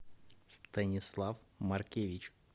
станислав маркевич